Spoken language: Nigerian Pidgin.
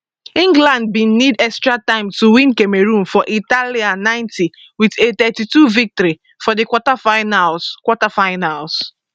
england bin need extra time to win cameroon for italia 90 wit a 32 victory for di quarterfinals quarterfinals